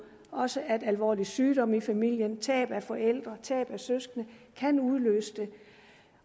også alvorlig sygdom i familien tab af forældre og tab af søskende kan udløse det